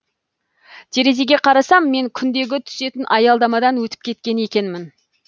терезеге қарасам мен күндегі түсетін аялдамадан өтіп кеткен екенмін